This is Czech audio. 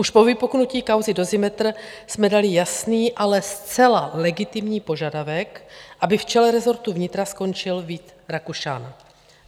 Už po vypuknutí kauzy Dozimetr jsme dali jasný, ale zcela legitimní požadavek, aby v čele rezortu vnitra skončil Vít Rakušan.